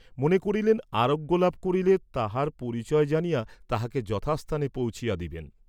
মনে করিলেন আরোগ্য লাভ করিলে তাহার পরিচয় জানিয়া তাহাকে যথা স্থানে পৌঁছিয়া দিবেন।